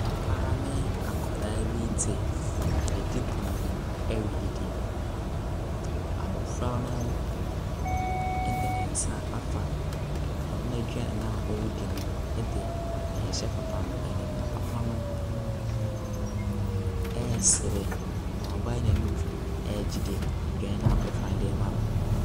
Papa ne akwadaa bi te ɛdidipono ho ɛredidi. Abɔfra no ɛde nensa afa ɔno n'aduane na ɔredi no ɛde ɛɛhyɛ papa no anim na papa no ɛɛsre na wabae nenum ɛɛgye aduane na abɔfra no deema no.